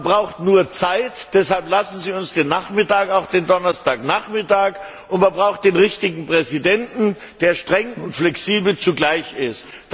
Man braucht nur Zeit, deshalb lassen Sie uns auch den Donnerstagnachmittag. Man braucht den richtigen Präsidenten, der streng und flexibel zugleich ist.